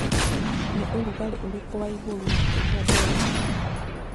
ni ũrũgarĩ ũrĩkũ wa wa iguru makĩrĩa delhi